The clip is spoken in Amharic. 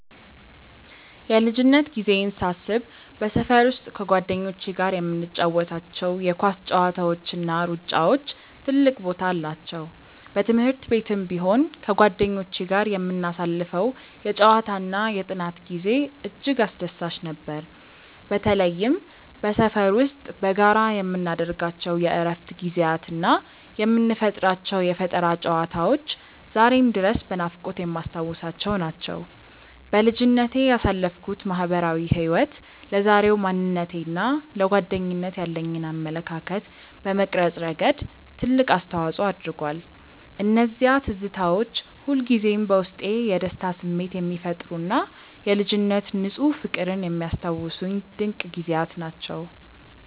የልጅነት ጊዜዬን ሳስብ በሰፈር ውስጥ ከጓደኞቼ ጋር የምንጫወታቸው የኳስ ጨዋታዎችና ሩጫዎች ትልቅ ቦታ አላቸው። በትምህርት ቤትም ቢሆን ከጓደኞቼ ጋር የምናሳልፈው የጨዋታና የጥናት ጊዜ እጅግ አስደሳች ነበር። በተለይም በሰፈር ውስጥ በጋራ የምናደርጋቸው የእረፍት ጊዜያትና የምንፈጥራቸው የፈጠራ ጨዋታዎች ዛሬም ድረስ በናፍቆት የማስታውሳቸው ናቸው። በልጅነቴ ያሳለፍኩት ማህበራዊ ህይወት ለዛሬው ማንነቴና ለጓደኝነት ያለኝን አመለካከት በመቅረጽ ረገድ ትልቅ አስተዋጽኦ አድርጓል። እነዚያ ትዝታዎች ሁልጊዜም በውስጤ የደስታ ስሜት የሚፈጥሩና የልጅነት ንፁህ ፍቅርን የሚያስታውሱኝ ድንቅ ጊዜያት ናቸው።